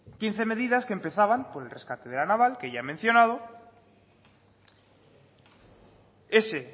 quince medidas que empezaban con el rescate de la naval que ya he mencionado ese